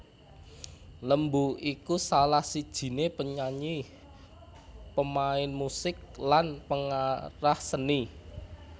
Lembu iku salah sijiné penyanyi pemain musik lan pengarah seni